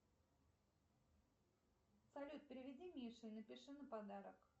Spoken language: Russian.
салют переведи мише напиши на подарок